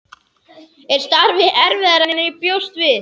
Er starfið erfiðara en ég bjóst við?